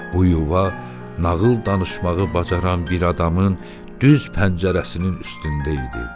Bu yuva nağıl danışmağı bacaran bir adamın yüz pəncərəsinin üstündə idi.